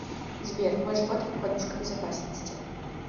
сбер мой живот как подушка безопасности